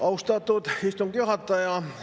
Austatud istungi juhataja!